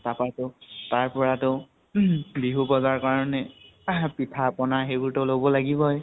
তাপাই টো, তাৰ পৰাটো বিহু বজাৰ কাৰণে পিঠা পনা সেইবোৰ ত লব লাগিবই।